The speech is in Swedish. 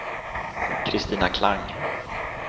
Christina Klang